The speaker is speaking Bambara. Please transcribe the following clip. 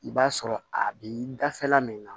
I b'a sɔrɔ a bi dafɛla min na